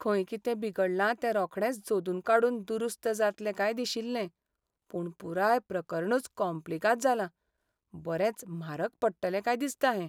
खंय कितें बिगडलां तें रोखडेंच सोदून काडून दुरुस्त जातलें काय दिशिल्लें. पूण पुराय प्रकरणूच कोम्प्लिगाद जालां, बरेंच म्हारग पडटलें काय दिसता हें.